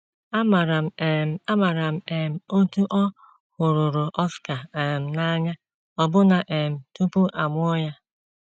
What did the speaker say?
Amaara m um Amaara m um otú ọ hụruru Oscar um n’anya ọbụna um tupu a mụọ ya.